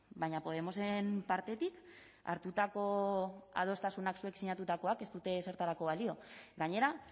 baina podemosen partetik hartutako adostasunak zuek sinatutakoak ez dute ezertarako balio gainera